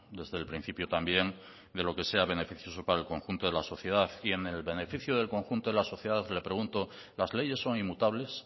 desde el principio también de lo que sea beneficioso para el conjunto de la sociedad y en el beneficio del conjunto de la sociedad le pregunto las leyes son inmutables